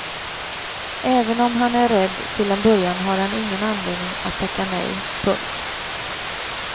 Även om han är rädd till en början har han ingen anledning att tacka nej. punkt